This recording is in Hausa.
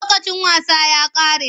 Lokacin wasa ya ƙare.